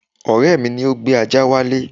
Ọ̀rẹ́ mi ni ó gbé ajá wálé